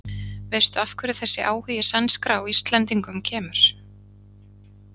Veistu af hverju þessi áhugi sænskra á Íslendingum kemur?